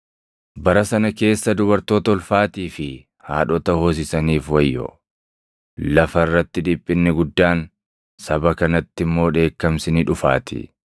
Bara sana keessa dubartoota ulfaatii fi haadhota hoosisaniif wayyoo! Lafa irratti dhiphinni guddaan, saba kanatti immoo dheekkamsi ni dhufaatii.